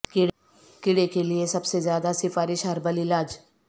کیڑے کے لئے سب سے زیادہ سفارش ہربل علاج